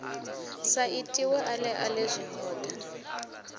sa itiwe ale ale zwihoda